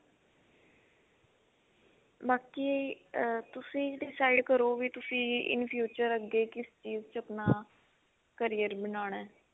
ਬਾਕੀ ਅਹ ਤੁਸੀਂ decide ਕਰੋ ਵੀ ਤੁਸੀਂ in future ਅੱਗੇ ਕਿਸ ਚੀਜ ਚ ਆਪਣਾ carrier ਬਣਾਉਣਾ